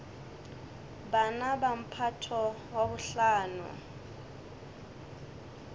bana ba mphato wa bohlano